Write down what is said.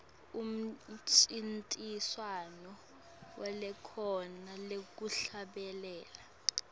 umncintiswano welikhono lekuhlabelela